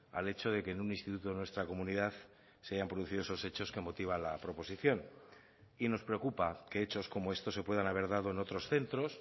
al hecho de que en un instituto de nuestra comunidad se hayan producido esos hechos que motiva la proposición y nos preocupa que hechos como estos se puedan haber dado en otros centros